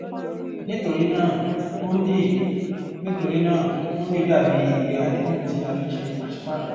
nítorí náà hundi nítorí náà hundi dà bí ìwé àdéhùn tí a fi ń ṣe pàṣípààrò